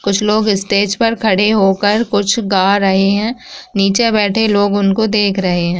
कुछ लोग स्टेज पर खड़े होकर कुछ गा रहें हैं। नीचे बैठे लोग उनको देख रहें हैं।